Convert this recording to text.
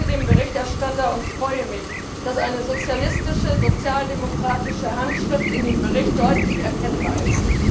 Ich danke dem Berichterstatter und freue mich, dass eine sozialistische, sozialdemokratische Handschrift in dem Bericht deutlich erkennbar ist.